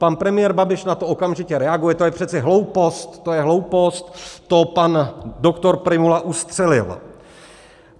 Pan premiér Babiš na to okamžitě reaguje: to je přece hloupost, to je hloupost, to pan doktor Prymula ustřelil.